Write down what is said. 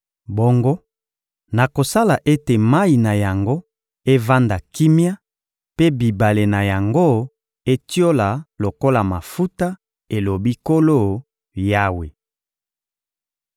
Bongo nakosala ete mayi na yango evanda kimia mpe bibale na yango etiola lokola mafuta, elobi Nkolo Yawe.